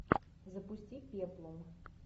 запусти пеплум